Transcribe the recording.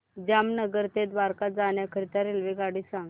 जामनगर ते द्वारका जाण्याकरीता रेल्वेगाडी सांग